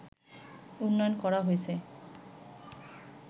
উন্নয়ন করা হয়েছে